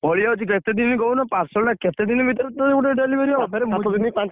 ପଳେଇଆଉଚି କେତେ ଦିନି କହୁନ parcel ଟା କେତେ ଦିନି ଭିତରେ ତ delivery ହବ